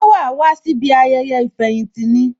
Ṣé wàá wá síbi ayẹyẹ ìfẹ̀yìntì ní?